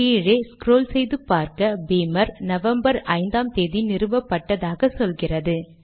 கீழே ஸ்க்ரால் செய்து பார்க்க பீமர் நவம்பர் ஐந்தாம் தேதி நிறுவப்பட்டதாக சொல்கிறது